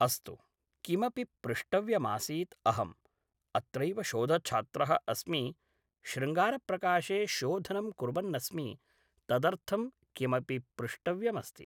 अस्तु किमपि पृष्टव्यमासीत् अहम् अत्रैव शोधछात्रः अस्मि शृङ्गारप्रकाशे शोधनं कुर्वन्नस्मि तदर्थं किमपि पृष्टव्यमस्ति